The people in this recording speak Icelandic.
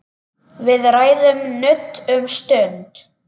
Við ræðum nudd um stund.